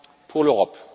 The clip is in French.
pour l'Europe.